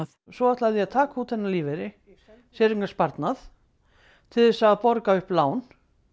svo ætlaði ég að taka út þennan lífeyri séreignasparnað til þess að borga upp lán